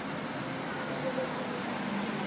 nobe lomunye umtimba